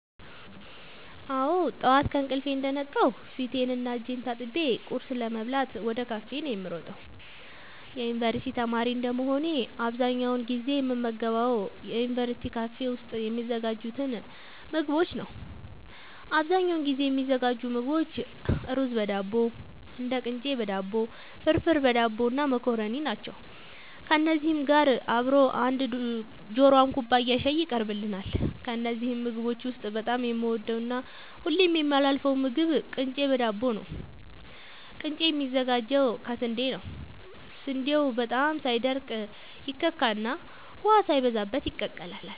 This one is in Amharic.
አወ ጠዋት ከእንቅልፌ እንደነቃሁ ፊቴን እና እጄን ታጥቤ ቁርስ ለመብላት ወደ ካፌ ነዉ የምሮጠው የዩንቨርስቲ ተማሪ እንደመሆኔ አብዛኛውን ጊዜ የምመገባቸው ዩንቨርስቲ ካፌ ውስጥ የሚዘጋጁትን ምግቦች ነዉ አብዛኛውን ጊዜ የሚዘጋጁ ምግቦች እሩዝበዳቦ ቅንጨበዳቦ ፍርፍርበዳቦ እና መኮረኒ ናቸው ከነዚህ ጋር አብሮ አንድ ጆሯም ኩባያ ሻይ ይቀርብልናል ከነዚህ ምግቦች ውስጥ በጣም የምወደውና ሁሌም የማላሳልፈው ምግብ ቅንጨ በዳቦ ነዉ ቅንጨ የሚዘጋጀው ከስንዴ ነዉ ስንዴው በጣም ሳይደቅ ይከካና ውሃ ሳይበዛበት ይቀላል